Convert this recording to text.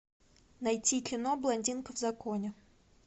найти кино блондинка в законе